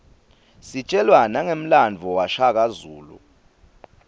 sitjelwa nangemlandvo washaka zulu